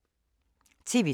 TV 2